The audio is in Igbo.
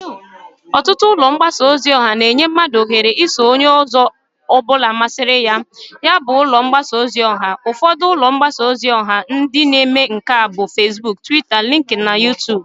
Otutu ulo mbasa ozi oha na-enye mmadu ohere iso Onye ozo obula masiriya na ya bu ulo mgbasa ozi oha. Ufodu ulo mbasaa ozi oha ndi na-eme nka bu Fesbuk, Twita, Linkin, na Yutub